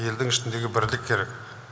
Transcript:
елдің ішіндегі бірлік керек